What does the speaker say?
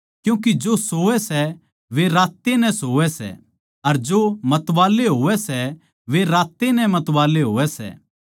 क्यूँके जो सोवैं सै वे रात ए नै सोवैं सै अर जो मतवाले होवै सै वे रात ए नै मतवाले होवै सै